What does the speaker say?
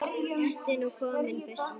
Ertu nú komin, brussan mín?